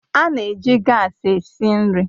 A na-eji gaasi esi nri